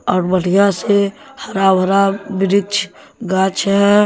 और बढ़िया से हरा भरा वृक्ष गाछ है।